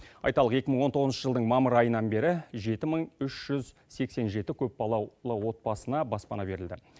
айталық екі мың он тоғызыншы жылдың мамыр айынан бері жеті мың үш жүз сексен жеті көпбалалы отбасына баспана берілді